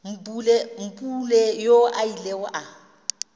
mpule yoo a ilego a